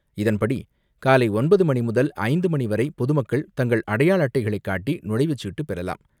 இதன்படி காலை ஒன்பது மணிமுதல் மாலை ஐந்து மணிவரை பொதுமக்கள் தங்கள் அடையாள அட்டைகளை காட்டி நுழைவுச்சீட்டு பெறலாம்.